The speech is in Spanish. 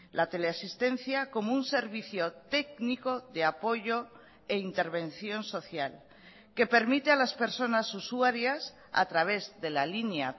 la teleasistencia como un servicio técnico de apoyo e intervención social que permite a las personas usuarias a través de la línea